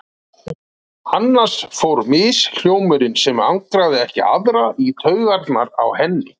Annars fór mishljómurinn, sem angraði ekki aðra, í taugarnar á henni.